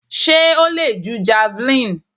Sé o le ju javelin?